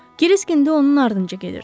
Kirisk indi onun ardınca gedirdi.